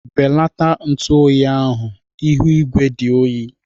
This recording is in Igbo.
Belata ntu oyi ahu ihu igwe dị oyi